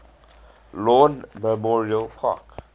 lawn memorial park